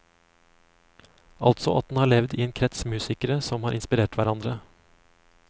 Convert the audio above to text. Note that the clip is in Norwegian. Altså at den har levd i en krets musikere som har inspirert hverandre.